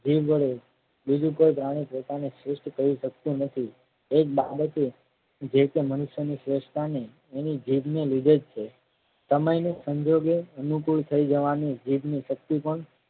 જીભ વડે બીજું કોઈ પ્રાણી પોતાને શ્રેષ્ઠ કહી શકતું નથી એક બાળકે જે રીતે મનુષ્યને શ્રેષ્ઠતાને એની જીભ ને લીધે જ છે. સમય સંજોગે અનુકૂળ થઈ જવાને જીભની શક્તિ પણ